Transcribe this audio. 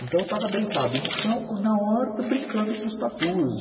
Então eu estava deitado no chão, na horta, brincando com os tatus.